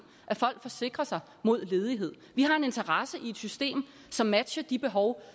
at folk forsikrer sig mod ledighed vi har en interesse i et system som matcher de behov